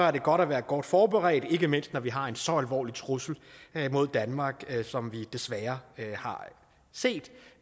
er det godt at være godt forberedt ikke mindst når vi har en så alvorlig trussel mod danmark som vi desværre har set